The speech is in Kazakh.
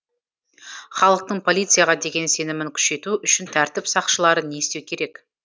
халықтың полицияға деген сенімін күшейту үшін тәртіп сақшылары не істеу керек